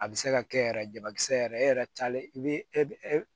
A bɛ se ka kɛ yɛrɛ jabakisɛ yɛrɛ e yɛrɛ taalen i bɛ e